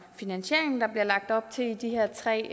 finansiering der bliver lagt op til i de her tre